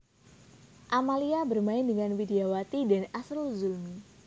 Amalia bermain dengan Widyawati dan Asrul Zulmi